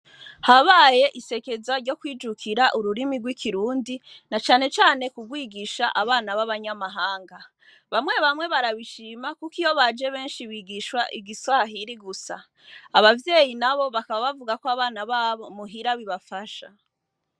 Habaye isekeza ryo kwijukira ururimi rw'ikirundi na canecane kurwigisha abana b'abanyamahanga, bamwe bamwe barabishima kuko iyo baje benshi bigishwa igiswahiri gusa, abavyeyi nabo bakaba bavuga ko abana babo muhira bibafasha.